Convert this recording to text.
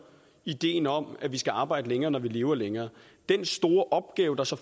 ideen om at man skal arbejde længere når man lever længere den store opgave der så